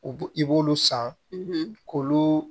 U b'u i b'olu san k'olu